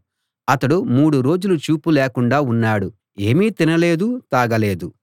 అతడు మూడు రోజులు చూపు లేకుండా ఉన్నాడు ఏమీ తినలేదు తాగలేదు